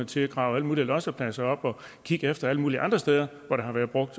til at grave alle mulige lossepladser op og kigge efter alle mulige andre steder hvor der har været brugt